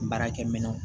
Baarakɛ minɛnw